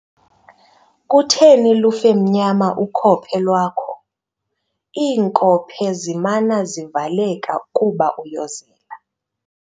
Kutheni lufe mnyama ukhophe lwakho? iinkophe zimana zivaleka kuba uyozela